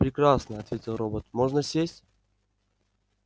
прекрасно ответил робот можно сесть